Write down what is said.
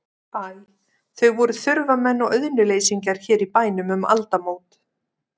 Æ, þau voru þurfamenn og auðnuleysingjar hér í bænum um aldamót.